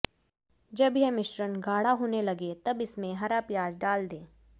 जब यह मिश्रण गाढ़ा होने लगे तब इसमें हरा प्याज डाल दें